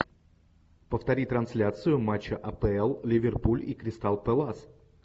повтори трансляцию матча апл ливерпуль и кристал пэлас